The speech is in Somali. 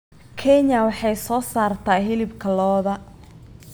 Kenya waxay soo saartaa hilibka lo'da.